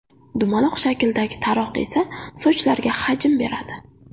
Dumaloq shakldagi taroq esa sochlarga hajm beradi.